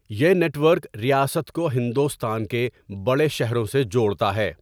یہ network ریاست کو ہندوستان کے بڑے شہروں سے جوڑتا ہے۔